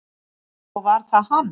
Og var það hann?